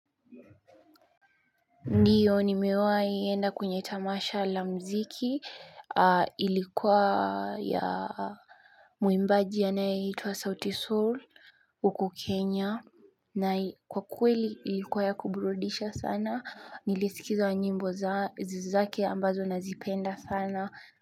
Ndiyo ni mewaienda kwenye tamasha la mziki ilikuwa ya muimbaji anaeitwa South Seoul Uku Kenya na kwa kweli ilikuwa ya kuburudisha sana nilisikiza nyimbo za zake ambazo nazipenda sana.